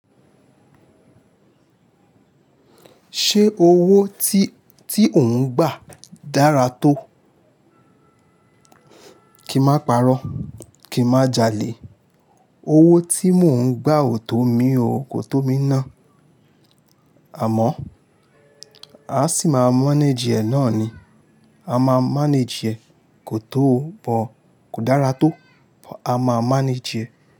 Ṣé owó tí, tí ò ń gbà dára tó? Kì má parọ́, kì má jalè. Owó tí mò ń gbà ò tó mi o, kò tó mi ná. Àmọ́ a sì máa manage ẹ náà ni. A máa manage ẹ. Kò tó o but, kò dára tó but a máa manage ẹ.